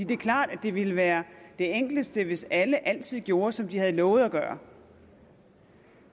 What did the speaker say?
det er klart at det ville være det enkleste hvis alle altid gjorde som de havde lovet at gøre